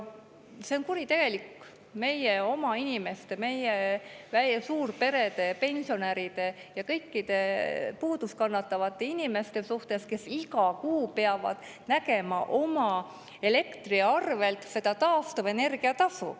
See on kuritegelik meie oma inimeste, meie suurperede, pensionäride ja kõikide puudust kannatavate inimeste suhtes, kes iga kuu peavad nägema oma elektriarvel seda taastuvenergia tasu.